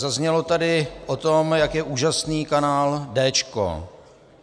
Zaznělo tady o tom, jak je úžasný kanál Déčko.